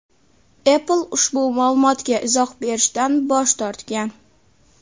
Apple ushbu ma’lumotga izoh berishdan bosh tortgan.